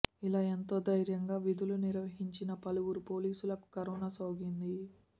ఇలా ఎంతో ధైర్యంగా విధులు నిర్వహించిన పలువురు పోలీసులకు కరోనా సోకింది